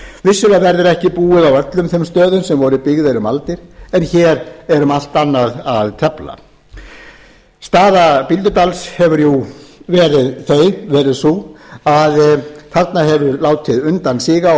vissulega verður ekki búið á öllum þeim stöðum sem voru byggðir um aldir en hér er um allt annað að tefla staða bíldudals hefur verið sú að þarna hefur látið undan síga og